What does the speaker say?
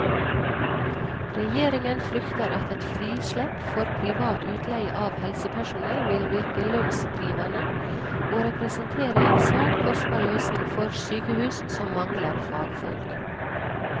Regjeringen frykter at et frislepp for privat utleie av helsepersonell vil virke lønnsdrivende og representere en svært kostbar løsning for sykehus som mangler fagfolk.